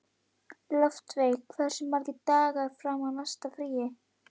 Loftveig, hversu margir dagar fram að næsta fríi?